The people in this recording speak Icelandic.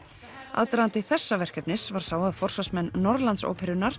aðdragandi þessa verkefnis var sá að forsvarsmenn